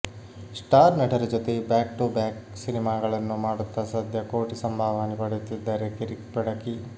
star ನಟರ ಜೊತೆ back to back ಸಿನಿಮಾಗಳನ್ನು ಮಾಡುತ್ತ ಸದ್ಯ ಕೋಟಿ ಸಂಭಾವನೆ ಪಡೆಯುತ್ತಿದ್ದಾರೆ ಕಿರಿಕ್ ಬೆಡಗಿ